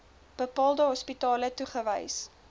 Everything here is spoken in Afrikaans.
bepaalde hospitale toegewys